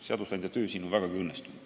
Seadusandja töö on olnud vägagi õnnestunud.